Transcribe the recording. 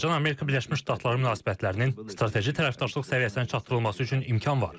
Azərbaycan-Amerika Birləşmiş Ştatları münasibətlərinin strateji tərəfdaşlıq səviyyəsinə çatdırılması üçün imkan var.